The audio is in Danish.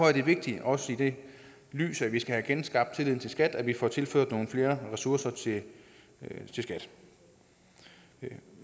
er det vigtigt også i det lys at vi skal have genskabt tilliden til skat at vi får tilført nogle flere ressourcer til skat men